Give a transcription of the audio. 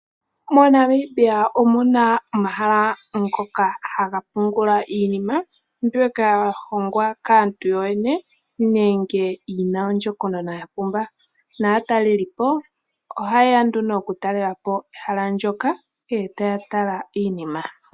MoNamibia omu na omahala ngoka haga pungula iinima mbyoka ya hongwa kaantu yo yene nenge yi na ondjokonona ya pumba naatalelipo oha yeya okutalelapo ehala ndyoka e taya tala iinima.